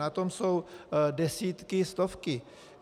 Na tom jsou desítky, stovky.